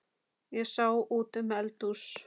Ég sá út um eldhús